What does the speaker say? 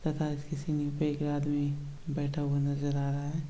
पे एगो आदमी बैठा हुआ नज़र आ रहा है।